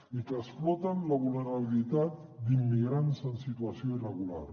i que exploten la vulnerabilitat d’immigrants en situació irregular